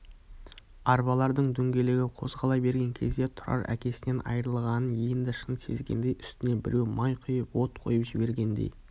арбалардың дөңгелегі қозғала берген кезде тұрар әкесінен айырылғанын енді шын сезгендей үстіне біреу май құйып от қойып жібергендей